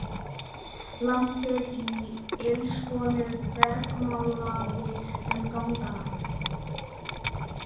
Plampið í ilskónum bergmálaði um gangana.